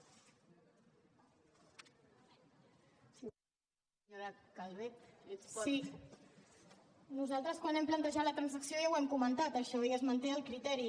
sí nosaltres quan hem plantejat la transacció ja ho hem comentat això i es manté el criteri